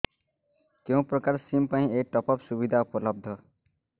କେଉଁ ପ୍ରକାର ସିମ୍ ପାଇଁ ଏଇ ଟପ୍ଅପ୍ ସୁବିଧା ଉପଲବ୍ଧ